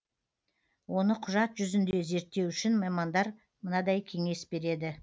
оны құжат жүзінде реттеу үшін мамандар мынадай кеңес береді